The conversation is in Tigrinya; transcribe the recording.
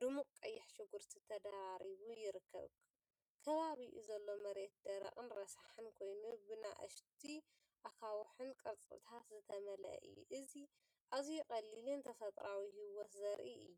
ድሙቕ ቀይሕ ሽጉርቲ ተደራሪቡ ይርከብ። ከባቢኡ ዘሎ መሬት ደረቕን ረሳሕን ኮይኑ፡ብንኣሽቱ ኣኻውሕን ቅርጽታትን ዝተመልአ እዩ። እዚ ኣዝዩ ቀሊልን ተፈጥሮኣዊን ህይወት ዘርኢ እዩ።